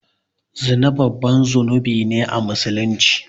Zina babban zunubi ne a musulunci